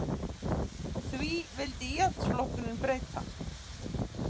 Því vildi Íhaldsflokkurinn breyta